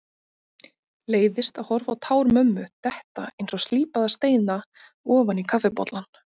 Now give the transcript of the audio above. Leiðist að horfa á tár mömmu detta einsog slípaða steina ofan í kaffibollann.